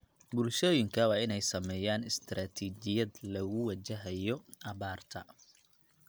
Bulshooyinka waa inay sameeyaan istaraatiijiyad lagu wajahayo abaarta.